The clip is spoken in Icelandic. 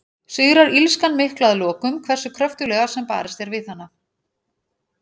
Sigrar illskan mikla að lokum, hversu kröftuglega sem barist er við hana?